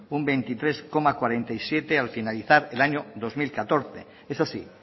un veintitrés coma cuarenta y siete al finalizar el año dos mil catorce eso sí